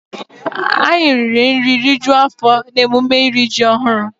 Anyị riri nri rijuo afọ n'emume iri ji ọhụrụ.